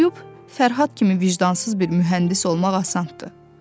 Oxuyub Fərhad kimi vicdansız bir mühəndis olmaq asandır.